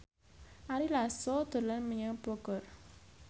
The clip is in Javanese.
Ari Lasso dolan menyang Bogor